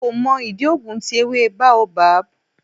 Nko mo idi oogun ti ewe Baobab